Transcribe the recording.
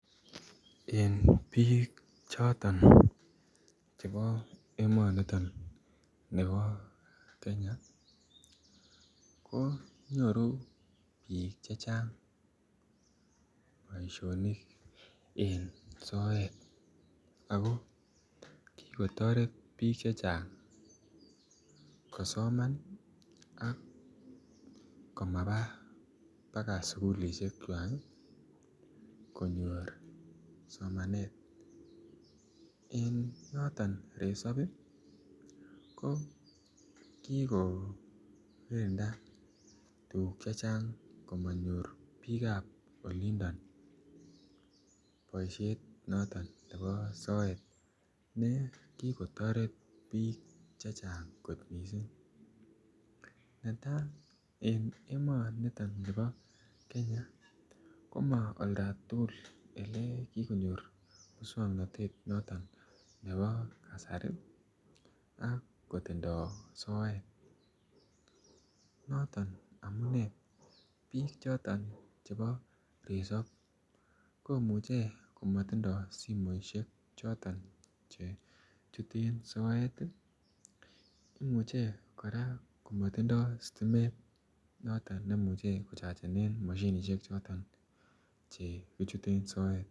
En bik choton chebo emoni bo Kenya konyoru bik chechang boisionik en soet ago ki kotoret bik chechang kosoman ak ko maba baka sukulisiekwak konyor somanet en noton resop ko ki korinda tuguk chechang komonyor bikap olindo boisiet noton nebo soet ne ki kotoret bik Che Chang kot mising neta en emonito bo Kenya ko Ma oldo tugul ye ko konyor moswoknatetab ab kasari ak kotindoi soet noton amune bik choton chebo resob komuche ko matindoi simoisiek Che chuten soet ii imuche kora kimatindoi sitimet memuche kochachen mashinisiek Che kichuten soet